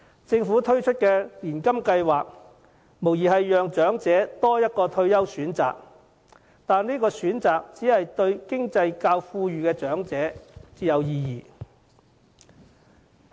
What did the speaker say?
政府推出年金計劃，無疑給長者多一個退休選擇，但這選擇只對較富裕的長者有意義。